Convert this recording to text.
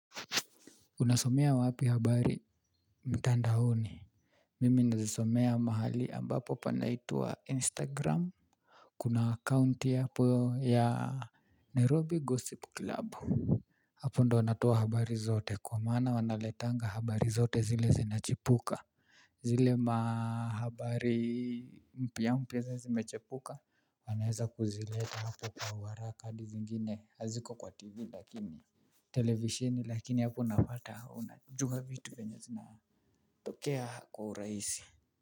Unasomea wapi habari mtandaoni. Mimi nazisomea mahali ambapo panaitwa instagram. Kuna account hapo ya Nairobi Gossip Club. Hapo ndio natoa habari zote kwa maana wanaletanga habari zote zile zinachipuka. Zile mahabari mpya mpya ziile zimechipuka. Wanaeza kuzileta hapo kwa uharaka hadi zingine haziko kwa tv lakini televisheni lakini hapo unapata unajua vitu venye zina tokea kwa urahisi.